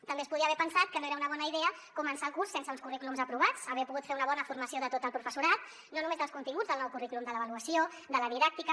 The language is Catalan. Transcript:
també es podia haver pensat que no era una bona idea començar el curs sense uns currículums aprovats haver pogut fer una bona formació de tot el professorat no només dels continguts del nou currículum de l’avaluació de la didàctica